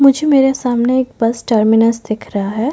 मुझे मेरे सामने एक बस टर्मिनस दिख रहा है।